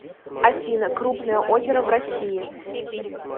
афина крупное озеро в россии